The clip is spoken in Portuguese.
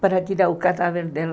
para tirar o cadáver dela.